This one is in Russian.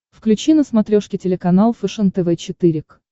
включи на смотрешке телеканал фэшен тв четыре к